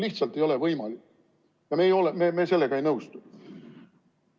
Lihtsalt ei ole võimalik ja me sellega ei nõustu.